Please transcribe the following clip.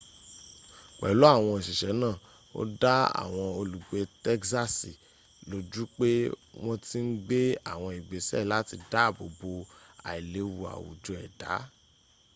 pelu awon osise naa o da awon olugbe tegsasi loju pe won ti n gbe awon igbese lati daabo bo ailewu awujo eda